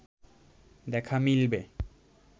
দেখা মিলবে